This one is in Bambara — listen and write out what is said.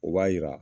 O b'a jira